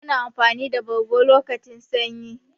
Muna amfani da bargo lokacin sanyi.